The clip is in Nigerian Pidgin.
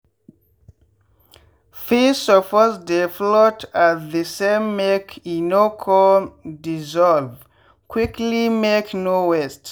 feed suppose dey float at the samemake e no come dissolve quickly make no waste.